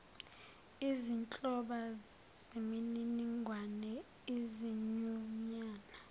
izinhloba zemininingwane izinyunyana